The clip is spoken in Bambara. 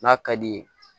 N'a ka di ye